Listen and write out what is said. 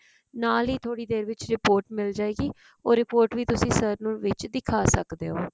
ਨਾਲ ਹੀ ਥੋੜੀ ਦੇਰ ਵਿੱਚ report ਮਿਲ ਜਾਵੇਗੀ ਉਹ report ਵੀ sir ਨੂੰ ਵਿੱਚ ਦਿਖਾ ਸਕਦੇ ਹੋ